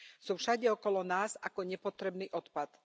Sú všade okolo nás ako nepotrebný odpad.